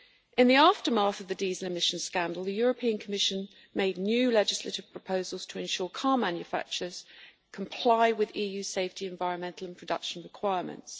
In the aftermath of the diesel emissions scandal the European Commission made new legislative proposals to ensure that car manufacturers comply with EU safety, environmental and production requirements.